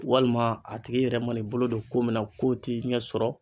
Walima a tigi yɛrɛ man'i bolo don ko min na ko ti sɔrɔ